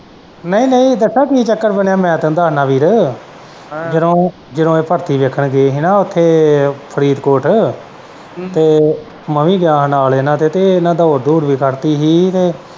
ਨਹੀਂ ਨਹੀਂ ਦੱਸਾਂ ਕੀ ਚੱਕਰ ਬਣਿਆ ਤੈਨੂੰ ਮੈਂ ਦੱਸਣਾ ਵੀਰ ਹੈਂ ਜਦੋਂ ਜਦੋਂ ਉਹ ਭਰਤੀ ਵੇਖਣ ਗਏ ਹੀ ਨਾ ਓਥੇ ਫਰੀਦਕੋਟ ਤੇ ਮੈਂ ਵੀ ਗਿਆ ਹਾਂ ਨਾਲ ਇਹਨਾਂ ਦੇ ਤੇ ਇਹਨੇ ਦੌੜ ਦੂੜ ਵੀ ਕੱਢਤੀ ਹੀ ਤੇ।